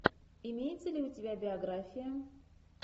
имеется ли у тебя биография